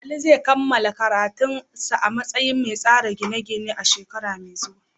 Ali zai kammala karatu a matsayin mai tsara gine-gine a shekara mai zuwa.